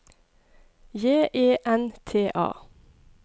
J E N T A